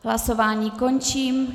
Hlasování končím.